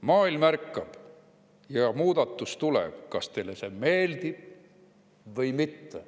Maailm ärkab ja muudatus tuleb, kas teile see meeldib või mitte.